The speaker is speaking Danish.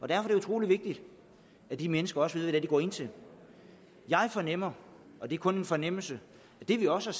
er det utrolig vigtigt at de mennesker også ved hvad de går ind til jeg fornemmer og det er kun en fornemmelse at det vi også